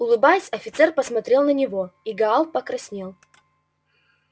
улыбаясь офицер посмотрел на него и гаал покраснел